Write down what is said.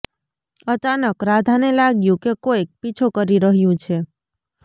અચાનક રાધાને લાગ્યું કે કોઈક પીછો કરી રહ્યું છે